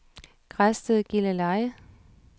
Græsted-Gilleleje